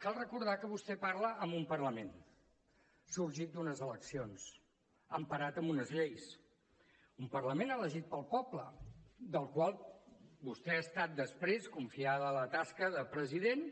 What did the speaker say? cal recordar que vostè parla a un parlament sorgit d’unes eleccions emparat en unes lleis un parlament elegit pel poble del qual vostè ha estat després confiada la tasca de president